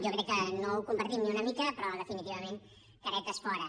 jo crec que no ho compartim ni una mica però definitivament caretes fora